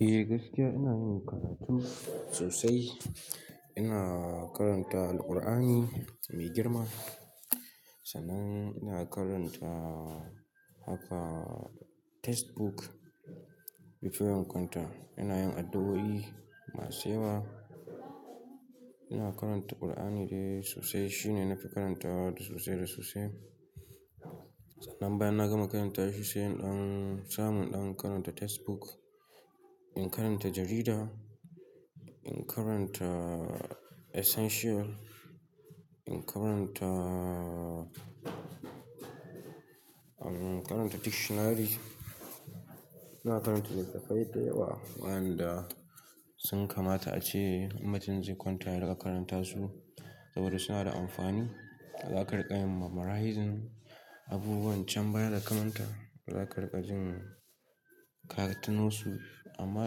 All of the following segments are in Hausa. Eh gaskiya ina yin karatu sosai. Ina karanta Alqur'ani mai girma, sannan ina karanta haka textbook before in kwanta. Ina yin addu'o'i masu yawa, ina karanta qur'ani dai sosai. Shi ne na fi karantawa sosai da sosai. Sannan bayan na gama karanta shi sai in samu ina karanta textbook, in karanta jarida, in karanta essential, in karanta dictionary. Ina karanta littattafai da yawa wayanda sun kamata ace in mutum zai kwanta ya riƙa karanta su saboda suna da amfani. Za ka riƙa yin memorizing abubuwan can baya da ka manta. Za ka riƙa jin ka tunosu. Amma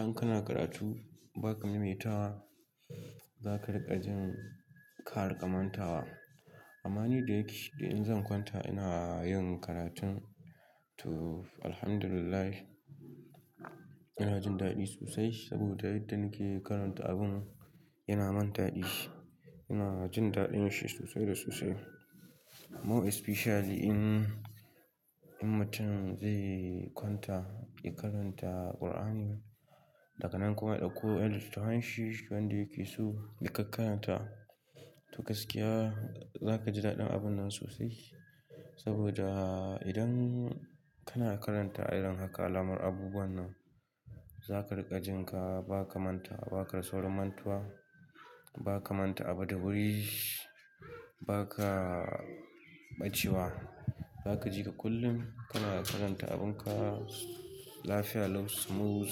in kana karatu ba ka maimai tawa, za ka riƙa jin ka riƙa manta wa. Amma ni da yake idan zan kwanta ina yin karatun to Alhamdulillah ina jin daɗi sosai saboda yadda nake karanta abun yana min daɗi. Ina jin daɗin shi sosai da sosai. More especially in mutum zai kwanta ya karanta qur'ani, daga nan kuma ya ɗauko yan litattafai shi wanda yake so ya kakaranta to gaskiya za ka ji daɗin abun nan sosai. Saboda idan kana karanta irin haka alamar abubuwan nan ba za ka riƙa jin ka ba ka manta, ba ka rasa wurin mantuwa, ba ka manta abu da wuri, ba ka ɓacewa. Za ka jika kullum kana karanta abun ka lafiya lau, smooth,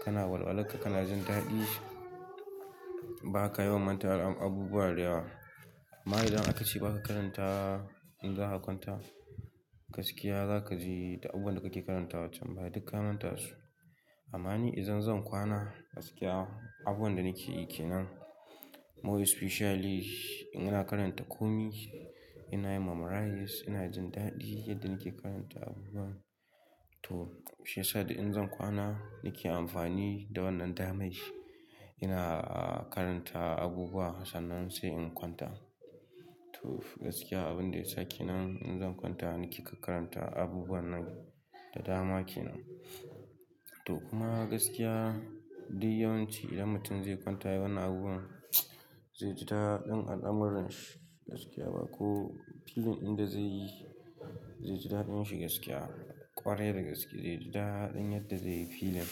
kana walwala ka, kana jin daɗi. Ba ka yawan mantawa da abubuwa da yawa. Amma idan aka ce ba ka karanta in za ka kwanta, gaskiya za ka ji da abun da kake karantawa can baya duk ka manta su. Amma ni idan zan kwana gaskiya abubuwan da nake yi kenan more especially in ina karanta komi, ina yin memorising ina jin daɗi yadda nake karanta abubuwan. Toh shi ya sa idan zan kwana nake amfani da wannan damai. Ina karanta abubuwa sannan sai in kwanta. Toh gaskiya abin da ya sake nan in zan kwanta nake karanta abubuwan nan da dama kenan. Toh kuma gaskiya duk yawanci idan mutum zai kwanta yayi wannan abubuwan zai ji daɗin al'amuran shi gaskiya ba ko filin inda zai yi zai ji daɗin shi gaskiya ƙwarai da gaske zai ji daɗin yadda zai yi filin.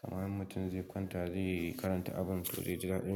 Kamar in mutum zai kwanta zai karanta abun toh zai ji daɗi.